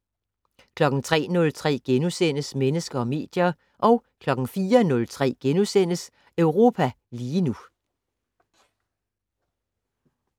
03:03: Mennesker og medier * 04:03: Europa lige nu *